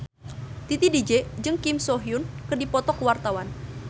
Titi DJ jeung Kim So Hyun keur dipoto ku wartawan